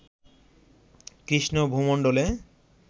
Krishna ভূমণ্ডলে